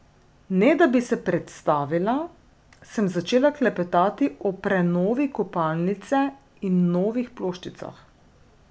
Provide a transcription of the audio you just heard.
Ne da bi se predstavila, sem začela klepetati o prenovi kopalnice in novih ploščicah.